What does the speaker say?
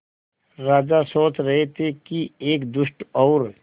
राजा सोच रहे थे कि एक दुष्ट और